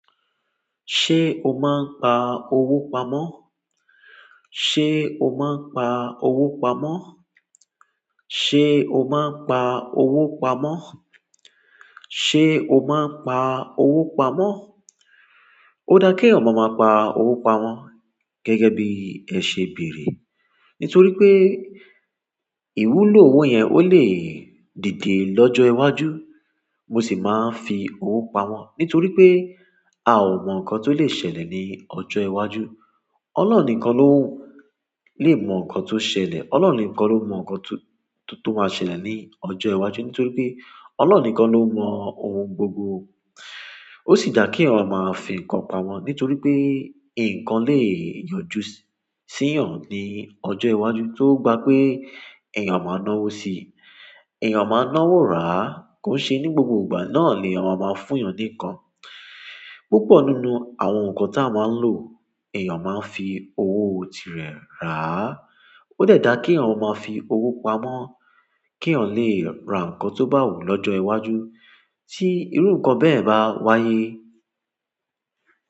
Ṣé o máa ń pa owó pamọ́? Ṣé o má ń pa owó pamọ́? Ṣé o má ń pa owó pamọ́? Ṣé o má ń pa owó pamọ́? Ó dá kí eeyan máa pa owó pamọ́ gẹ́gẹ́ bí ẹ ṣe beere nítorí pé ìwúlò owó yẹn ó lè dìde lọ́jọ́ iwájú. Mo sì máa ń fi owó pamọ́ nítorí pé a ò mọ nǹkan tó lè ṣẹlẹ̀ ní ọjọ́ iwájú. Ọlọ́run nìkan ló lè mọ nǹkan tó ṣẹlẹ̀. Ọlọ́run nìkan ló mọ nǹkan tó, tó máa ṣẹlẹ̀ ní ọjọ́ iwájú nítorí pé Ọlọ́run nìkan ló mọ ohun gbogbo. Ó sì dà kí eeyan máa fi nǹkan pamọ́ nítorí pé nǹkan lè yọjú sí eeyan ní ọjọ́ iwájú tó gba pé èèyàn máa náwó si. Èèyàn máa náwó rà á kó ṣe ní gbogbo ìgbà náà l'eèyan máa máa fún èèyàn ní nǹkan. Púpọ̀ nínú àwọn nǹkan tí a máa ń lò èèyàn máa ń fi owó tirẹ̀ rà á. Ó dẹ dá kí eeyan máa fi owó pamọ́ kí eeyan lè ra nǹkan tó bá wù ú lọ́jọ́ iwájú tí irú nǹkan bẹ́ẹ̀ bá wáyé.